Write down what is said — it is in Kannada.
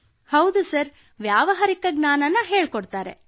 ಕೃತ್ತಿಕಾ ಹೌದು ಸರ್ ವ್ಯಾವಹಾರಿಕ ಜ್ಞಾನವನ್ನು ಹೇಳಿಕೊಡುತ್ತಾರೆ